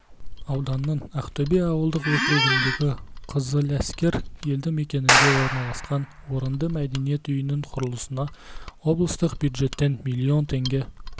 ауданның ақтөбе ауылдық округіндегі қызыләскер елді мекенінде орналасқан орынды мәдениет үйінің құрылысына облыстық бюджеттен млн теңге